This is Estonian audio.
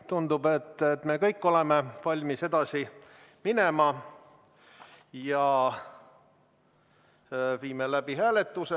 Tundub, et me kõik oleme valmis edasi minema ja viime läbi hääletuse.